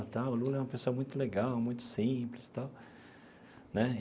O Lula é uma pessoa muito legal, muito simples tal né.